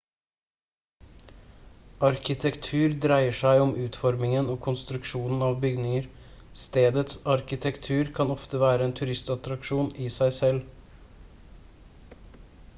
arkitektur dreier seg om utformingen og konstruksjonen av bygninger stedets arkitektur kan ofte være en turistattraksjon i seg selv